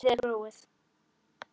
Svæðið er gróið.